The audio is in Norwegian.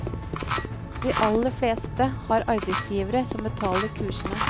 De aller fleste har arbeidsgivere som betaler kursene.